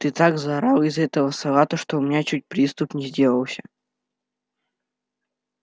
ты так заорала из-за этого салата что у меня чуть приступ не сделался